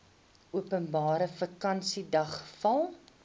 openbare vakansiedag val